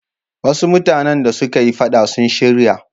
Wasu mutane da suka yi faɗa sun shirya.